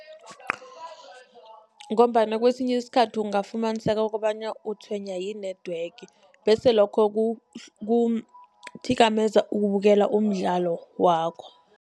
Ngombana kesinye isikhathi ungafumaniseka kobana utshwenywa yi-network, bese lokho kuthikameza ukubukela umdlalo wakho.